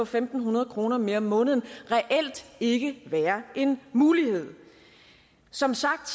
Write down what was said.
fem hundrede kroner mere om måneden reelt ikke være en mulighed som sagt